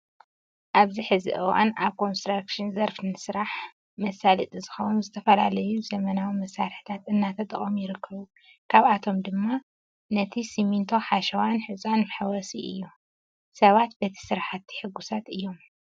ኣብዚ ሕዚ እዋን ኣብ ኮንስትራክሽ ዘርፊ ንስራሕ መሳለጢ ዝኾውን ዝተፈላለዩ ዘበናዊ መሳርሕታት እናተጠቀሙ ይርከቡ። ካብኣቶም ድማ ነቲ ሲሚኒቶ፣ ሓሸዋን ሑፃን መሕወሲ እዩ። ሰባት በቲ ስራሕቲ ሕጉሳት እዮም።